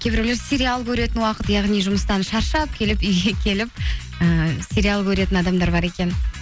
кейбірулер сериал көретін уақыт яғни жұмыстан шаршап келіп үйге келіп ііі сериал көретін адамдар бар екен